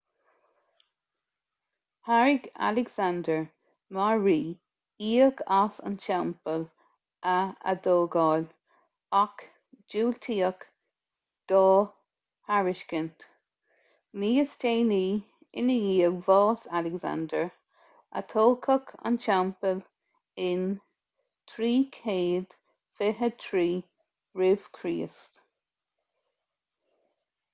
thairg alexander mar rí íoc as an teampall a atógáil ach diúltaíodh dá thairiscint níos déanaí i ndiaidh bhás alexander atógadh an teampall in 323 rcr